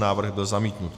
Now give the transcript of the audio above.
Návrh byl zamítnut.